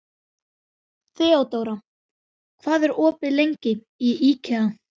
Þeódóra, hvað er opið lengi í IKEA?